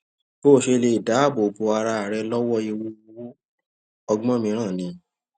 bó o ṣe lè dáàbò bo ara rẹ lówó ewu owó ọgbón mìíràn ni